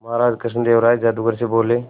महाराज कृष्णदेव राय जादूगर से बोले